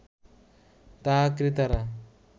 তা ক্রেতারা